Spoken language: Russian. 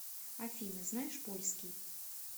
афина знаешь польский